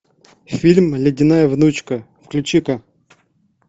фильм ледяная внучка включи ка